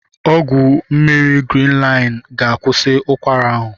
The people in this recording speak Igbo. Ọgwụ mmiri Grinlin ga-akwụsi ụkwara ahụ.